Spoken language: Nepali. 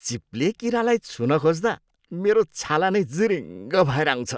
चिप्ले किरालाई छुन खोज्दा मेरो छाला नै जिरिङ्ग भएर आउँछ।